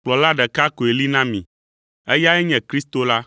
Kplɔla ɖeka koe li na mi, eyae nye Kristo la.